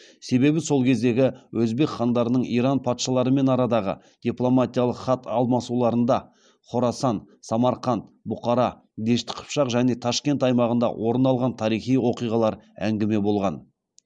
себебі сол кездегі өзбек хандарының иран патшаларымен арадағы дипломатиялық хат алмасуларында хорасан самарқанд бұқара дешті қыпшақ және ташкент аймағында орын алған тарихи оқиғалар әңгіме болған